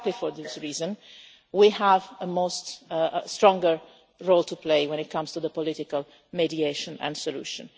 Exactly for this reason, we have a stronger role to play when it comes to the political mediation and solution.